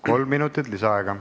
Kolm minutit lisaaega.